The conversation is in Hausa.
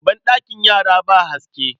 Banɗakin yara ba haske.